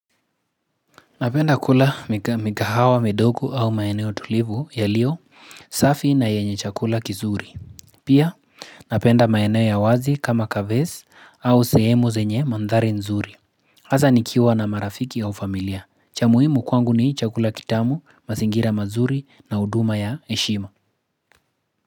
Napenda kula mikahawa, midogo au maeneo tulivu yalio, safi na yenye chakula kizuri. Pia, napenda maeneo ya wazi kama kavesi au sehemu zenye mandhari nzuri. Haza nikiwa na marafiki au familia. Cha muhimu kwangu ni hii chakula kitamu, mazingira mazuri na huduma ya heshima.